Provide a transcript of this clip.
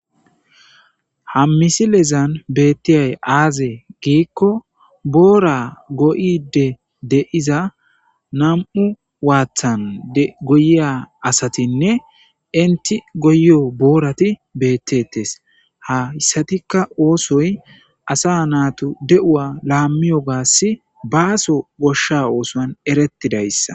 Ha misilezan beettiyay aaze giikko boora go7ide de7iza nam7u waathan goyiya asatinne enti goyiyo boorati beettettes. Hayssatikka oosoy asa naatu de7uwa laammiyogasi baaso goshsha oosuwan erettidayssa.